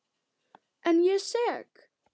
En ég er sek.